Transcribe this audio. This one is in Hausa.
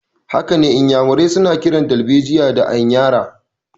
Hakane, Inyamurai suna kiran darbejiya da anyara.